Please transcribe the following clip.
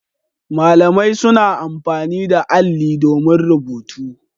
Malamai suna amfani da alli domin rubutu.